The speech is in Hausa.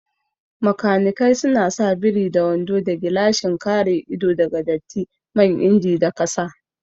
Makanikai suna sa biri da wando da gilashin kare ido daga datti man inji da kasa